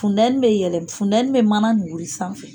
Fundɛni bɛ yɛlɛ fundɛni mɛ mana nin wuli sanfɛ.